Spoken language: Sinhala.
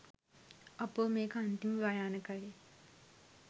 අපෝ මේක අන්තිම භයානකයි